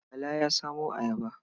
Bala ya samo ayaba.